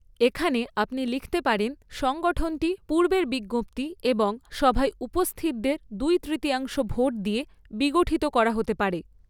এখানে, আপনি লিখতে পারেন, 'সংগঠনটি পূর্বের বিজ্ঞপ্তি এবং সভায় উপস্থিতদের দুই তৃতীয়াংশ ভোট দিয়ে বিগঠিত করা হতে পারে'।